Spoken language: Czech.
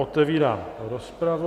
Otevírám rozpravu.